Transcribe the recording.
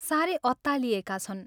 सारै अत्तालिएका छन्।